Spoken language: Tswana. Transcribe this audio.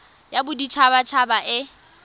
ya bodit habat haba e